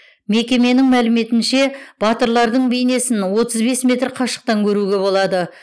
мекеменің мәліметінше батырлардың бейнесін отыз бес метр қашықтан көруге болады